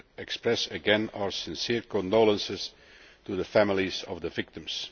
express again our sincere condolences to the families of the victims.